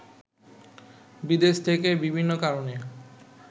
বিদেশ থেকে বিভিন্ন কারনে